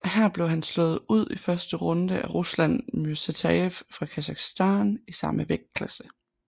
Her blev han slået ud i første runde af Ruslan Myrsatayev fra Kasakhstan i samme vægtklasse